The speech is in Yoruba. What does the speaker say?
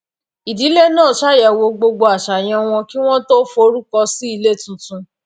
ìdílé náà ṣàyẹwò gbogbo àṣàyàn wọn kí wọn tó forúkọ sí ilé tuntun